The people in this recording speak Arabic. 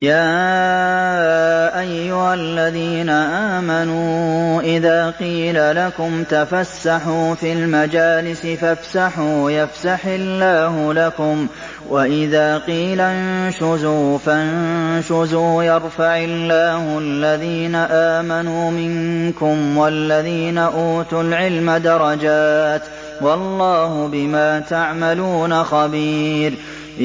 يَا أَيُّهَا الَّذِينَ آمَنُوا إِذَا قِيلَ لَكُمْ تَفَسَّحُوا فِي الْمَجَالِسِ فَافْسَحُوا يَفْسَحِ اللَّهُ لَكُمْ ۖ وَإِذَا قِيلَ انشُزُوا فَانشُزُوا يَرْفَعِ اللَّهُ الَّذِينَ آمَنُوا مِنكُمْ وَالَّذِينَ أُوتُوا الْعِلْمَ دَرَجَاتٍ ۚ وَاللَّهُ بِمَا تَعْمَلُونَ خَبِيرٌ